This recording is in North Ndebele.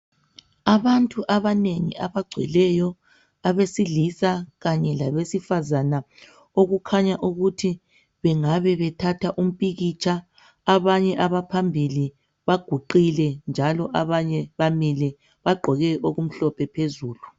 Abantu abanengi abagcweleyo abesilisa kanye labesifazana okukhanya ukuthi bengabe bethatha umpikitsha, abanye abaphambili baguqile njalo abanye bamile, bagqoke okumhlophe phezulu.